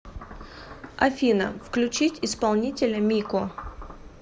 афина включить исполнителя мико